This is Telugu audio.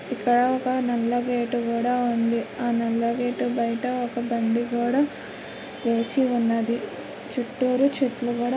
ఇక్కడ ఒక నల్ల గేట్ కూడా ఉంది. ఆ నల్ల గేటు బయట ఒక బండి కూడా వేచి ఉన్నదీ. చుట్టూరు చెట్లు కూడా--